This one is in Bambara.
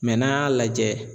n'an y'a lajɛ